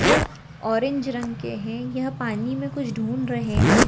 जो ऑरेंज रंग के हैं यह पानी में कुछ ढूंढ रहे हैं